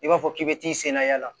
I b'a fɔ k'i bɛ t'i sen na yaala